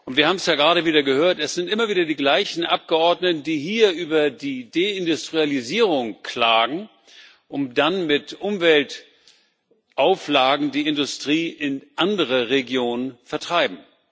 Wir haben es ja gerade wieder gehört, es sind immer wieder die gleichen Abgeordneten, die hier über die Deindustrialisierung klagen und dann mit Umweltauflagen die Industrie in andere Regionen vertreiben.